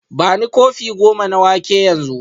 Bani kofi goma na wake yanzu